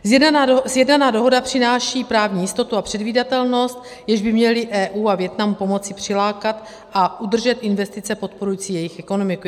Sjednaná dohoda přináší právní jistotu a předvídatelnost, jež by měly EU a Vietnamu pomoci přilákat a udržet investice podporující jejich ekonomiku.